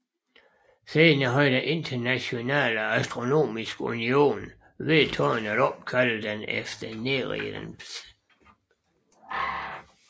Senere har den Internationale Astronomiske Union vedtaget at opkalde den efter nereiden Psamathe fra den græske mytologi